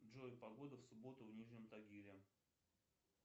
джой погода в субботу в нижнем тагиле